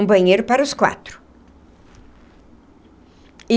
Um banheiro para os quatro.